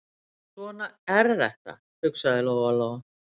Svona er þetta, hugsaði Lóa-Lóa.